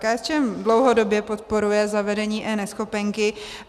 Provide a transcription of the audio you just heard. KSČM dlouhodobě podporuje zavedení eNeschopenky.